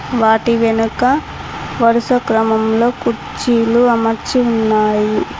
వాటి వెనక వరుస క్రమంలో కుర్చీలు అమర్చి ఉన్నాయి.